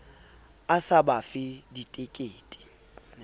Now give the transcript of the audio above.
a sa ba fe ditekete